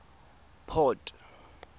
port